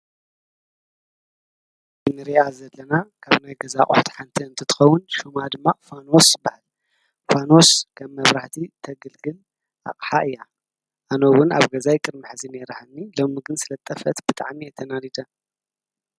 ንሪኣ ዘለና ካብ ናይ ገዛ አቁሑት ሓንቲ እንትከዉን ሽማ ድማ ፋኖስ ይበሃል፤ ፋኖስ ከም መብራህቲ ተገልግል አቅሓ እያ፤ አነ ዉን አብ ገዛይ ቅድሚ ሐዚ ኔራትኒ ሎሚ ግን ስለ ዝጠፍአት ብጣዕሚ እየ ተናዲደ።